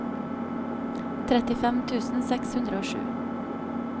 trettifem tusen seks hundre og sju